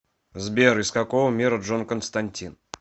сбер из какого мира джон константин